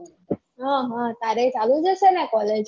ઉહ તારે ચાલું જ હશે ને college